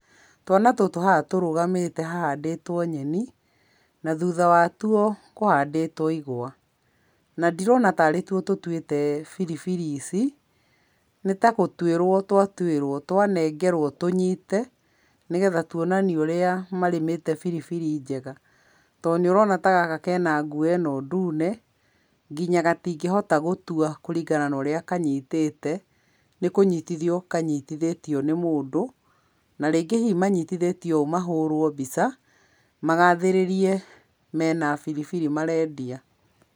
Twana tũtũ haha tũrugamĩte hahandĩtwo nyeni, na thutha watwo kũhandĩtwo igwa, na ndirona tarĩ two tũtuĩte biribiri ici, nĩ tagũtuĩrwo twa tuĩrwo twanengerwo tũnyite, nĩgetha tuonanie ũrĩa marĩmĩte biribiri njega, to nĩ ũrona tagaka kena nguo ĩno ndune, nginya gatingĩhota gũtwa kũringana norĩa kanyitĩte, nĩ kũnyitithio kanyitithĩtio nĩ mũndũ, na rĩngĩ hihi manyitithatio ũũ mahũrwo mbica, magathĩrĩrie mena biribiri marendia.